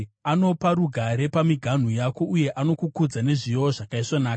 Anopa rugare pamiganhu yako, uye anokugutsa nezviyo zvakaisvonaka.